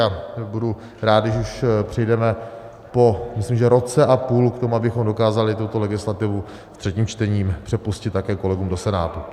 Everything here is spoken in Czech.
A budu rád, když už přijdeme po - myslím, že roce a půl - k tomu, abychom dokázali tuto legislativu v třetím čtení přepustit také kolegům do Senátu.